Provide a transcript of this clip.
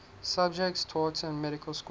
subjects taught in medical school